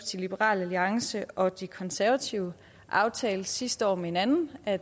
liberal alliance og de konservative aftalte sidste år med hinanden at